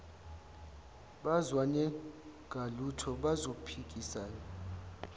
bazwane ngalutho bazophikisana